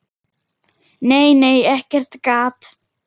Nei, nei, ekkert gat!